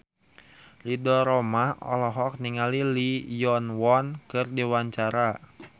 Ridho Roma olohok ningali Lee Yo Won keur diwawancara